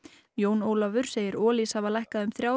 Jón Ólafur segir Olís hafa lækkað um þrjár